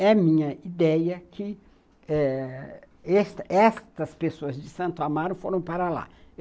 É minha ideia que eh estas estas pessoas de Santo Amaro foram para lá.